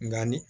Nga ni